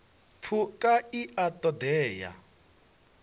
phukha i a ṱo ḓea